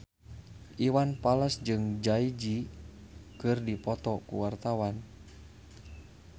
Iwan Fals jeung Jay Z keur dipoto ku wartawan